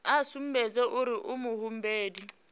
a sumbedze uri u muhumbeli